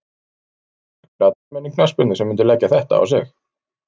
Ekki margir atvinnumenn í knattspyrnu sem myndu leggja þetta á sig.